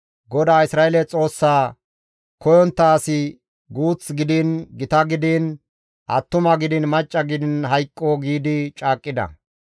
«GODAA Isra7eele Xoossaa koyontta asi guuth gidiin gita gidiin, attuma gidiin, macca gidiin hayqqo» giidi caaqqida.